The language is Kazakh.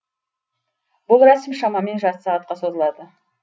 бұл рәсім шамамен жарты сағатқа созылады